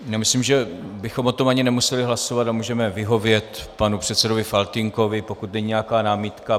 Myslím, že bychom o tom ani nemuseli hlasovat a můžeme vyhovět panu předsedovi Faltýnkovi, pokud není nějaká námitka.